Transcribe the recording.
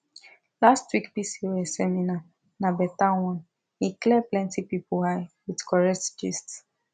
last week pcos seminar na better one e clear plenty people eye with correct gist